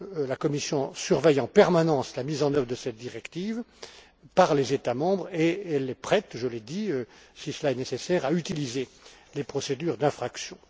La Commission surveille en permanence la mise en œuvre de cette directive par les États membres et elle est prête je l'ai dit si cela est nécessaire, à utiliser les procédures d'infraction.